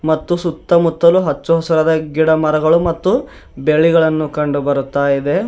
ಮತ್ತು ಸುತ್ತಮುತ್ತಲು ಅಚ್ಚು ಹಸಿರಾದ ಗಿಡ ಮರಗಳು ಮತ್ತು ಬೇಲಿಗಳನ್ನು ಕಂಡು ಬರ್ತಾ ಇದೆ.